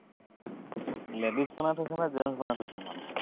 ladies বনাই থৈছা নে gents বনই থৈছা মানুহটোক।